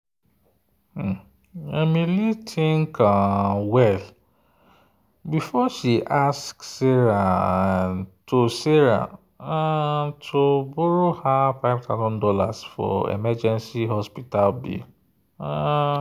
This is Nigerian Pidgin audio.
emily think um well before she ask sarah um to sarah um to borrow her five thousand dollars for emergency hospital bill. um